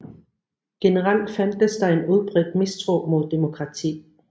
Generelt fandtes der en udbredt mistro mod demokrati